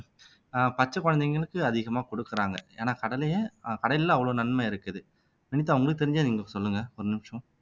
ஆஹ் பச்சை குழந்தைகளுக்கு அதிகமா கொடுக்குறாங்க ஏன்னா கடலையை அஹ் கடலைல்ல அவ்வளவு நன்மை இருக்குது வினிதா உங்களுக்கு தெரிஞ்சா நீங்க சொல்லுங்க ஒரு நிமிஷம்